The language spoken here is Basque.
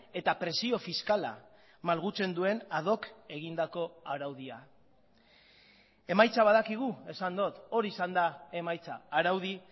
eta prezio fiskala malgutzen duen ad hoc egindako araudia emaitza badakigu esan dut hori izan da emaitza araudi